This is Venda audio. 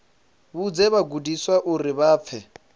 vhudze vhagudiswa uri vha fhe